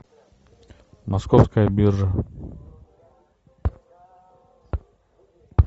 московская биржа